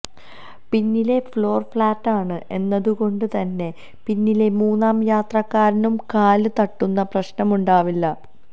പിന്നിലെ ഫ്ളോര് ഫ്ലാറ്റാണ് എന്നതുകൊണ്ടു തന്നെ പിന്നിലെ മൂന്നാം യാത്രക്കാരനും കാല് തട്ടുന്ന പ്രശ്നമുണ്ടാവില്ല